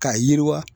K'a yiriwa